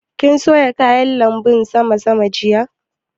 Kin soya kayan lanbun sama sama jiya?